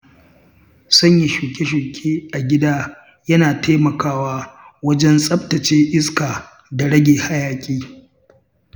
Sanya shuke-shuke a gida yana taimakawa wajen tsaftace iska da rage hayaƙi.